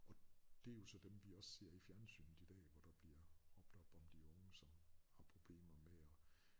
Og det er jo så dem vi også ser i fjernsynet i dag hvor der bliver råbt op om de unge som har problemer med at